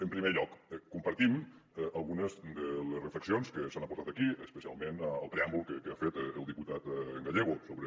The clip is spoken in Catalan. en primer lloc compartim algunes de les reflexions que s’han aportat aquí especialment el preàmbul que ha fet el diputat gallego sobre